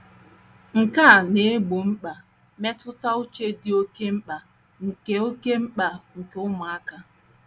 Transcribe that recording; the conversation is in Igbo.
Nke a na - egbo mkpa mmetụta uche dị oké mkpa nke oké mkpa nke ụmụaka.